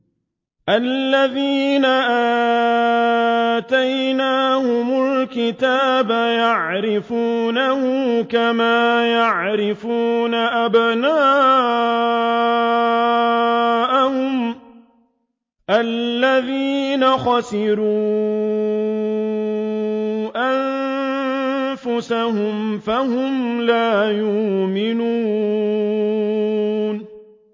الَّذِينَ آتَيْنَاهُمُ الْكِتَابَ يَعْرِفُونَهُ كَمَا يَعْرِفُونَ أَبْنَاءَهُمُ ۘ الَّذِينَ خَسِرُوا أَنفُسَهُمْ فَهُمْ لَا يُؤْمِنُونَ